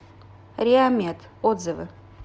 реамед отзывы